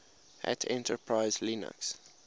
hat enterprise linux